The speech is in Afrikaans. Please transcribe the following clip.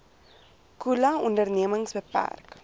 khula ondernemings beperk